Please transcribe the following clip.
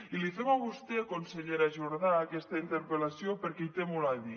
i li fem a vostè consellera jordà aquesta interpel·lació perquè hi té molt a dir